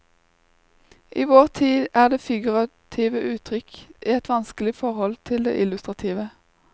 I vår tid er det figurative uttrykk i et vanskelig forhold til det illustrative.